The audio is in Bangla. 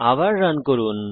আবার রান করুন